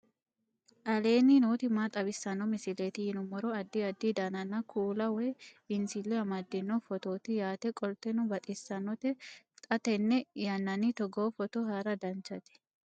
aleenni nooti maa xawisanno misileeti yinummoro addi addi dananna kuula woy biinsille amaddino footooti yaate qoltenno baxissannote xa tenne yannanni togoo footo haara danvchate